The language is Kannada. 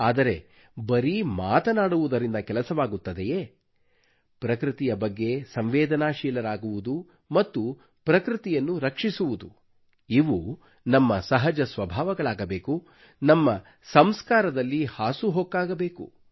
ಆದರೆ ಬರೀ ಮಾತನಾಡುವುದರಿಂದ ಕೆಲಸವಾಗುತ್ತದೆಯೇ ಪ್ರಕೃತಿಯ ಬಗ್ಗೆ ಸಂವೇದನಾಶೀಲರಾಗುವುದು ಮತ್ತು ಪ್ರಕೃತಿಯನ್ನು ರಕ್ಷಿಸುವುದು ಇವು ನಮ್ಮ ಸಹಜ ಸ್ವಭಾವಗಳಾಗಬೇಕು ನಮ್ಮ ಸಂಸ್ಕಾರದಲ್ಲಿ ಹಾಸುಹೊಕ್ಕಾಗಬೇಕು